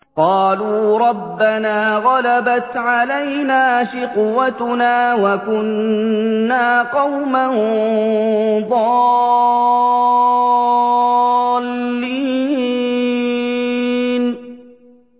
قَالُوا رَبَّنَا غَلَبَتْ عَلَيْنَا شِقْوَتُنَا وَكُنَّا قَوْمًا ضَالِّينَ